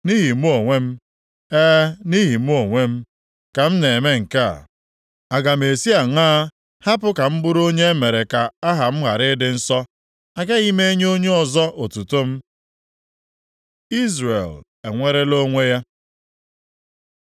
Nʼihi mụ onwe m, e, nʼihi mụ onwe m, ka m na-eme nke a. Aga m esi aṅaa hapụ ka m bụrụ onye emere ka aha m ghara ịdị nsọ? Agaghị m enye onye ọzọ otuto m. Izrel enwere onwe ya